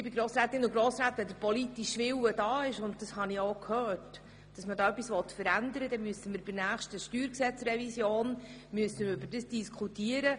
Wenn der politische Wille da ist – und das habe ich auch gehört – hier etwas zu verändern, dann müssen wir darüber bei der nächsten Steuergesetzrevision darüber diskutieren.